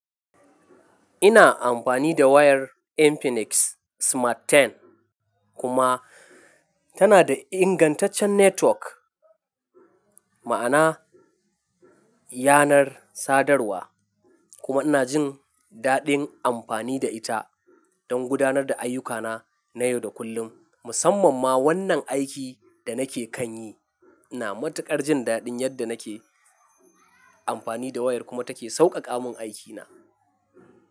Ina amfani da wayar Infinix Smart 10 kuma tana da ingantaccen network, ma'ana yanar sadarwa kuma ina jin dadin amfani da ita don gudanar da ayyukana na yau da kullum. Musamman ma wannan aikin da nake kan yi, ina matuƙar jin dadin yadda nake amfani da wayar kuma take sauƙaƙa min aikina.